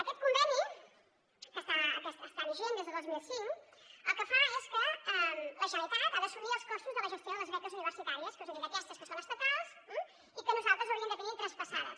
aquest conveni que està vigent des del dos mil cinc el que fa és que la gene·ralitat ha d’assumir els costos de la gestió de les beques universitàries que us he dit aquestes que són estatals eh i que nosaltres hauríem de tenir traspassades